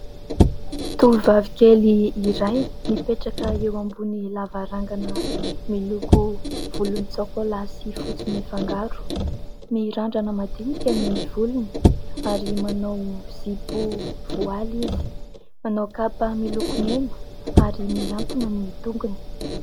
Tovovavy kely iray mipetraka eo ambony lavarangana miloko volontsokola sy fotsy mifangaro. Mirandrana madinika ny volony ary manao zipo voaly izy, manao kapa mena ary mihantona ny tongony.